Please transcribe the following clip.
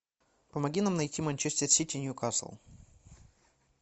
помоги нам найти манчестер сити ньюкасл